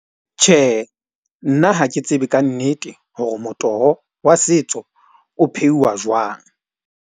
Tjhe, nna ha ke tsebe ka nnete hore motoho wa setso o pheuwa jwang.